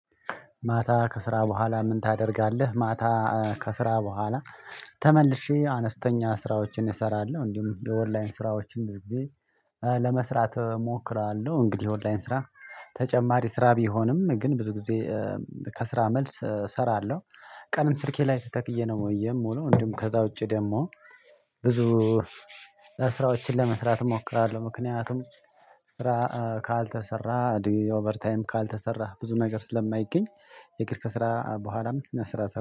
ማታ ከስራ በኋላ ምን ታደርጋለህ? ማታ ከስራ በኋላ ተመልሼ አነስተኛ ስራዎችን እሰራለሁ እንዲሁም የኦንላይን ስራዎችን እንደዚህ ለመስራት እሞክራለሁ። እንግዲህ የኦንላይን ስራ ተጨማሪ ስራ ቢሆንም ግን ብዙ ጊዜ ከስራ መልስ እሰራለሁ። ቀንም ስልኬ ላይ ተተክዬ ነው ወይ የምውለው ወንድም ከዛ ውጪ ደግሞ ብዙ ስራዎችን ለመስራት እሞክራለሁ። ምክንያቱም ስራ ካልተሰራ ኦቨር ታይም ካልተሰራ ብዙ ነገር ስለማይገኝ የክርፍ ስራ በኋላም ስራ